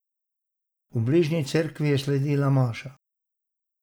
V bližnji cerkvi je sledila maša.